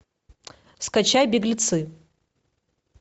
скачай беглецы